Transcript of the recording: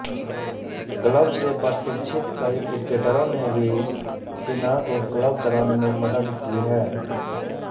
club से प्रशिक्षित कई क्रिकेटरों ने भी सिन्हा को क्लब चलाने में मदद की है